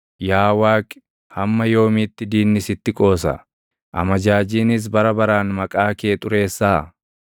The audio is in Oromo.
Yaa Waaqi, hamma yoomiitti diinni sitti qoosa? Amajaajiinis bara baraan maqaa kee xureessaa?